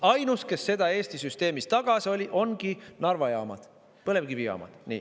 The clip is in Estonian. Ainus, kes seda Eesti süsteemis tagas, ongi Narva jaamad, põlevkivijaamad.